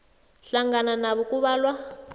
hlangana nabo kubalwa